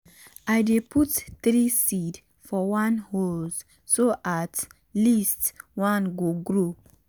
i dey put three seed for one hole so at least one go grow.